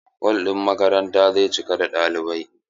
Hol ɗin makarantan zai cika da ɗalibai.